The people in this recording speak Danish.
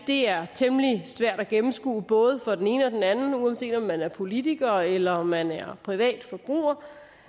det er temmelig svært at gennemskue både for den ene og den anden uanset om man er politiker eller om man er privat forbruger